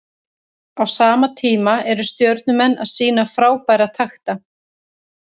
Á sama tíma eru Stjörnumenn að sýna frábæra takta.